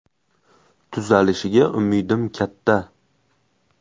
Tuzalishiga umidim katta.